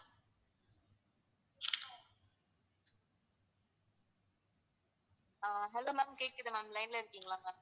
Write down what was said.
அஹ் hello ma'am கேக்குது ma'am line ல இருக்கீங்களா ma'am